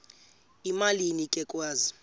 emalini ke kwezi